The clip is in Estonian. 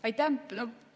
Aitäh!